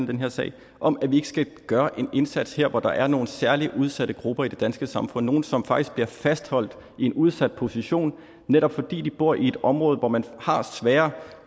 den her sag om at vi ikke skal gøre en indsats her hvor der er nogle særlig udsatte grupper i det danske samfund nogle som faktisk bliver fastholdt i en udsat position netop fordi de bor i et område hvor man har sværere